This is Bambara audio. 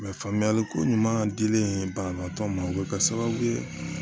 faamuyali ko ɲuman dilen banabaatɔ ma o bɛ kɛ sababu ye